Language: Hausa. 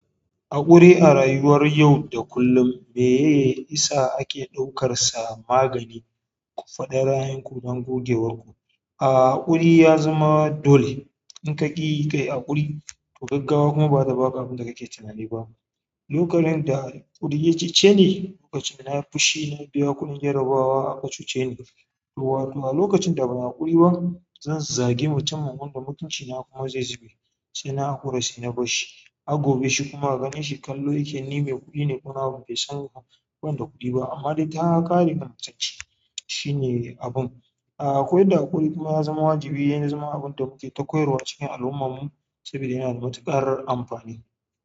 Haƙuri a rayuwar yau da kullum, me ye isa ake ɗaukar sa magani ku faɗa ra'ayenku don gogewarku. A haƙuri ya zama dole. In ka ƙi kai haƙuri, to gaggawa kuma ba za ta baka abin da kake tunani ba. Lokacin da haƙuri ya cece ni, lokacin da na yi fushi na biya kuɗin jarabawa aka cuceni to wato a lokacin da ban yi haƙuri ba, zan zagi mutum kuma da mutunci na kuma zai zube. Sai na haƙura sai na bar shi. Har gobe shi kuma ganin shi kallo yake ni mai kuɗi ne kuma bai san ban da kuɗi ba amma dai takare min mutunci. Shine abun. A akwai inda haƙuri kuma ya zama wajibi yan zama abin da muke ta koyarwa cikin al'ummarmu saboda yana da matuƙar amfani.